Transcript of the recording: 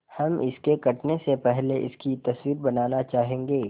हम इसके कटने से पहले इसकी तस्वीर बनाना चाहेंगे